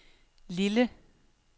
Lille